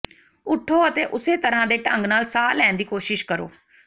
ਉੱਠੋ ਅਤੇ ਉਸੇ ਤਰ੍ਹਾਂ ਦੇ ਢੰਗ ਨਾਲ ਸਾਹ ਲੈਣ ਦੀ ਕੋਸ਼ਿਸ਼ ਕਰੋ